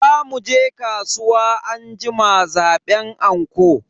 Za muje kasuwa anjima zaban anko.